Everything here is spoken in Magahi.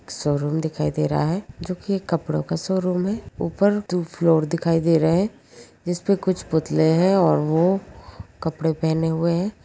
शोरूम दिखाई दे रहा है जो कि कपड़ों का शोरूम है ऊपर दो फ्लोर दिखाई दे रहे हैं जिसमें पे कुछ पुतले है और वो कपड़े पहने हुए हैं।